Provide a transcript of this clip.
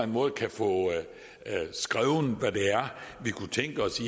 måde kan få skrevet hvad det er vi kunne tænke os